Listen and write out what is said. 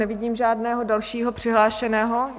Nevidím žádného dalšího přihlášeného...